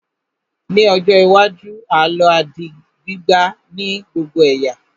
Ní ọjọ́ iwájú, àlọ́ á di gbígbà ní gbogbo ẹ̀yà